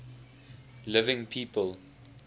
living people